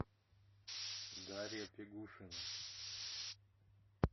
дарья фигушина